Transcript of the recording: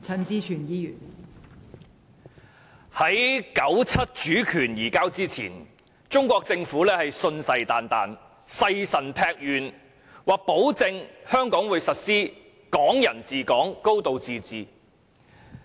在1997年主權移交前，中國政府信誓旦旦，誓神劈願保證香港會實施"港人治港"、"高度自治"。